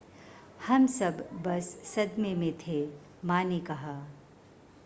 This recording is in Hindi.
हम सब बस सदमे में थे मां ने कहा